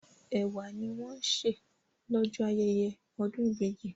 Ẹ̀wà ni wọ́n ń sè lọ́jọ́ ayẹyẹ ọdún ìbejì.